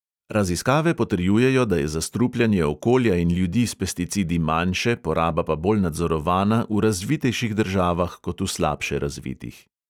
Raziskave potrjujejo, da je zastrupljanje okolja in ljudi s pesticidi manjše, poraba pa bolj nadzorovana v razvitejših državah kot v slabše razvitih.